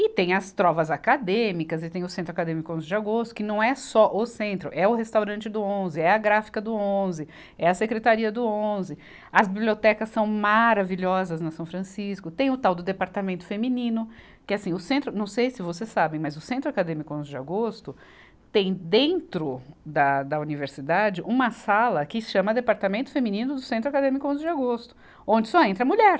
E tem as trovas acadêmicas, e tem o Centro Acadêmico onze de Agosto, que não é só o Centro, é o Restaurante do onze, é a Gráfica do onze, é a Secretaria do onze, as bibliotecas são maravilhosas na São Francisco, tem o tal do Departamento Feminino, que assim, o Centro, não sei se vocês sabem, mas o Centro Acadêmico onze de Agosto tem dentro da, da Universidade uma sala que se chama Departamento Feminino do Centro Acadêmico onze de Agosto, onde só entra mulher.